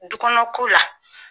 Dukɔnɔ ko la